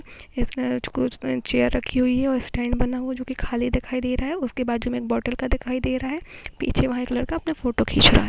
राजकोट में चेयर राखी हुई हैं और स्टैंड बना हुआ जो की खली दिखाई दे रहा है उसके बाजु में एक बोतल का दिखाई दे रहा है पीछे वहा एक लड़का अपना फोटो खिंच रहा हैं।